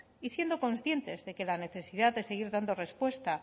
y siendo conscientes de que la necesidad de seguir dando respuesta